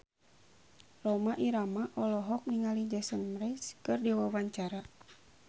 Rhoma Irama olohok ningali Jason Mraz keur diwawancara